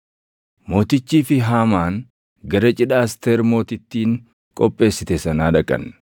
Mootichii fi Haamaan gara cidha Asteer Mootittiin qopheessite sanaa dhaqan;